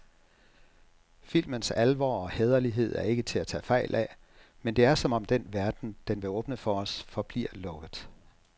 Filmens alvor og hæderlighed er ikke til at tage fejl af, men det er som om den verden, den vil åbne for os, forbliver lukket.